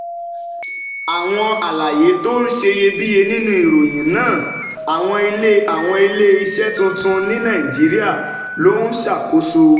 Àwọn àlàyé tó ṣeyebíye nínú ìròyìn náà: Àwọn ilé Àwọn ilé iṣẹ́ tuntun ní Nàìjíríà ló ń ṣàkóso